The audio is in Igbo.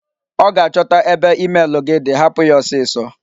Ọ ga-achọta ebe emel gị di, hapụ ya ọsịsọ!